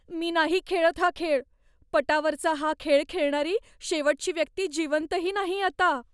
मी नाही खेळत हा खेळ. पटावरचा हा खेळ खेळणारी शेवटची व्यक्ती जिवंतही नाही आता.